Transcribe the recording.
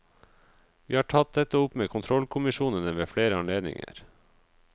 Vi har tatt dette opp med kontrollkommisjonene ved flere anledninger.